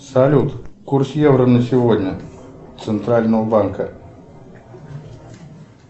салют курс евро на сегодня центрального банка